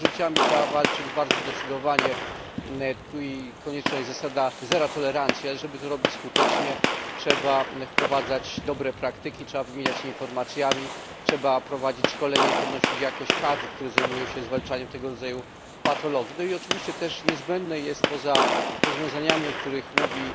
Z nadużyciami trzeba walczyć bardzo zdecydowanie. Tu konieczna jest zasada zero tolerancji, ale żeby to robić skutecznie, trzeba wprowadzać dobre praktyki, trzeba wymieniać się informacjami, trzeba prowadzić szkolenia i podnosić jakość kadr, które zajmują się zwalczaniem tego rodzaju nadużyć. No i oczywiście poza rozwiązaniami, o których mówi